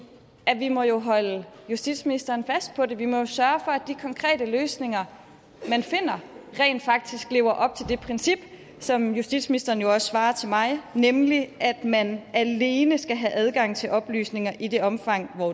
at vi jo må holde justitsministeren fast på det vi må sørge for at de konkrete løsninger man finder rent faktisk lever op til det princip som justitsministeren jo også svar til mig nemlig at man alene skal have adgang til oplysninger i det omfang